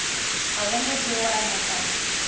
a bona tšeo a napa